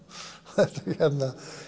þetta